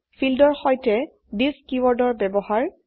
ফীল্ডৰ সৈতে থিচ কীওয়াৰ্ডৰ ব্যবহাৰৰ